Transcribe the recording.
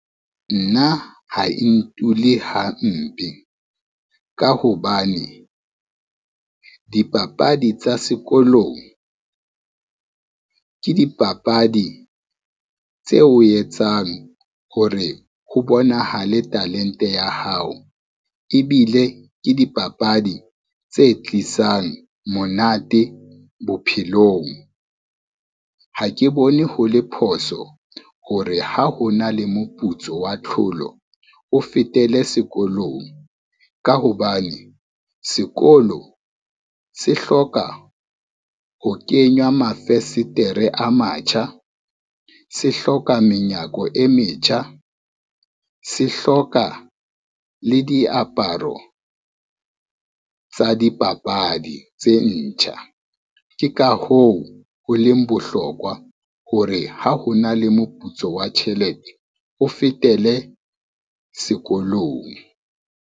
Nna ha e ntule hampe, ka hobane dipapadi tsa sekolong, ke dipapadi tseo o etsang hore ho bonahale talente ya hao ebile ke dipapadi tse tlisang monate bophelong. Ha ke bone ho le phoso hore ha ho na le moputso wa tlholo, o fetele sekolong, ka hobane sekolo se hloka ho kenywa mafesetere a matjha, se hloka menyako e metjha, se hloka le diaparo tsa dipapadi tse ntjha. Ke ka hoo ho leng bohlokwa hore ha ho na le moputso wa tjhelete, o fetele sekolong.